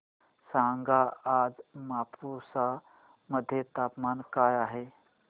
सांगा आज मापुसा मध्ये तापमान काय आहे